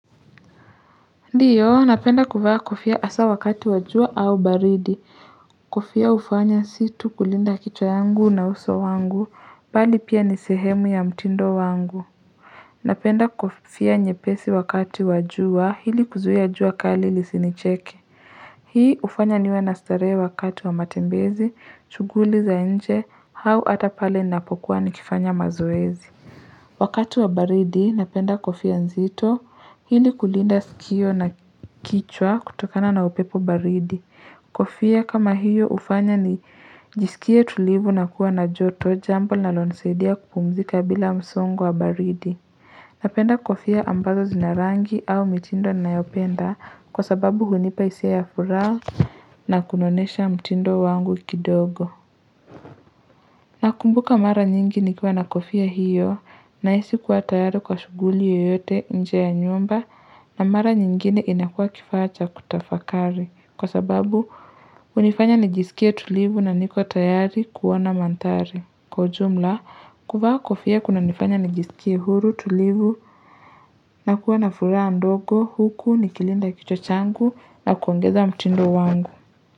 Ndiyo napenda kuvaa kofia hasa wakati wa jua au baridi kofia hufanya si tu kulinda kichwa yangu na uso wangu mbali pia ni sehemu ya mtindo wangu napenda kofia nyepesi wakati wa jua hili kuzuia jua kali lisinicheke hii ufanya niwe na starehe wakati wa matembezi shughuli za nje au ata pale ninapokuwa nikifanya mazoezi Wakati wa baridi, napenda kofia nzito hili kulinda sikio na kichwa kutokana na upepo baridi. Kofia kama hiyo hufanya nijisikie tulivu na kuwa na joto jambo linalosaidia kupumzika bila msongo wa baridi. Napenda kofia ambazo zina rangi au mitindo ninayopenda kwa sababu hunipa hisia ya furaha na kunonesha mtindo wangu kidogo. Na kumbuka mara nyingi nikiwa na kofia hiyo na hisi kuwa tayari kwa shughuli yoyote nje ya nyumba na mara nyingine inakua kifaa cha kutafakari kwa sababu hunifanya nijisikie tulivu na niko tayari kuona mandhari. Kwa ujumla, kuvaa kofia kunanifanya nijisikie huru tulivu na kuwa na furaha ndogo huku nikilinda kichwa changu na kuongeza mtindo wangu.